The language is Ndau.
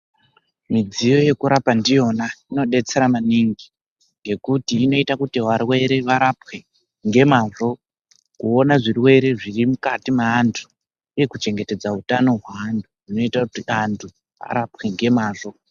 Midziyo yekurapa ndiyona inodetsera maningi ngekuti inoita kuti varwere varapwe ngemazvo, kuona zvirwere zvirimukati meantu uye kuchengetedza utano hweantu. Zvinoita kuti antu arapwe ngemazvo.